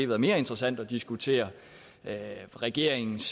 været mere interessant at diskutere regeringens